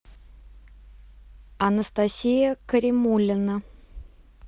анастасия каримулина